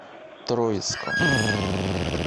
троицком